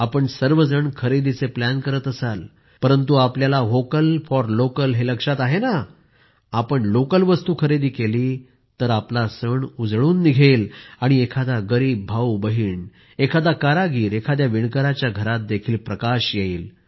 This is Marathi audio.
आपण सर्व जण खरेदीचे प्लॅन करत असाल परंतु आपल्याला व्होकल फॉर लोकल हे लक्षात आहे नंआपण लोकल वस्तु खरेदी केली तर आपला सण उजळून निघेल आणि एखादा गरीब भाऊ बहिण एखादा कारागीर एखाद्या विणकराच्या घरातही प्रकाश येईल